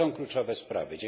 I to są kluczowe sprawy.